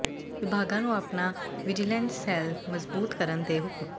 ਵਿਭਾਗਾਂ ਨੂੰ ਆਪਣਾ ਵਿਜੀਲੈਂਸ ਸੈੱਲ ਮਜ਼ਬੂਤ ਕਰਨ ਦੇ ਹੁਕਮ